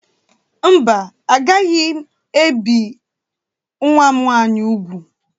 Mba, agaghị ebi nwa m nwanyị úgwù.